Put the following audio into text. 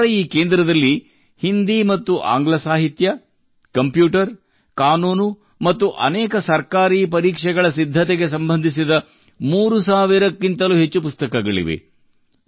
ಅವರ ಈ ಕೇಂದ್ರದಲ್ಲಿ ಹಿಂದಿ ಮತ್ತು ಆಂಗ್ಲ ಸಾಹಿತ್ಯ ಕಂಪ್ಯೂಟರ್ ಕಾನೂನು ಮತ್ತು ಅನೇಕ ಸರ್ಕಾರಿ ಪರೀಕ್ಷೆಗಳ ಸಿದ್ಧತೆಗೆ ಸಂಬಂಧಿಸಿದ 3000 ಕ್ಕಿಂತಲೂ ಹೆಚ್ಚು ಪುಸ್ತಕಗಳಿವೆ